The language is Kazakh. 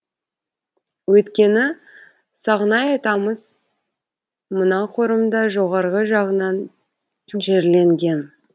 өйткені сағынай атамыз мынау қорымда жоғарғы жағынан жерленген